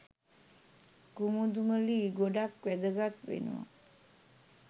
කුමුදුමලී ගොඩක් වැදගත් වෙනව